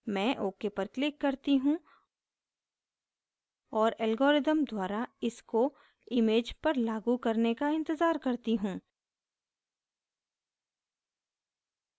मैं ok पर click करती हूँ और algorithm द्वारा इसको image पर लागू करने का इंतज़ार करती हूँ